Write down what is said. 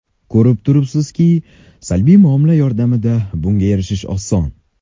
Ko‘rib turibsizki, salbiy muomala yordamida bunga erishish oson.